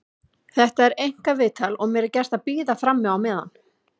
Þetta er einkaviðtal og mér er gert að bíða frammi á meðan.